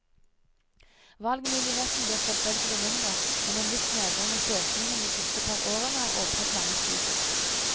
Valgmuligheten blir selvfølgelig mindre, men en viss nedgang i søkningen de siste par årene har åpnet mange studier.